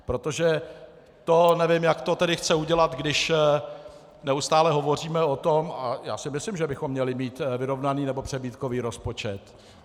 Protože to nevím, jak to tedy chce udělat, když neustále hovoříme o tom - a já si myslím, že bychom měli mít vyrovnaný nebo přebytkový rozpočet.